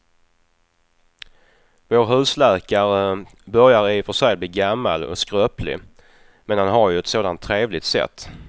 Vår husläkare börjar i och för sig bli gammal och skröplig, men han har ju ett sådant trevligt sätt!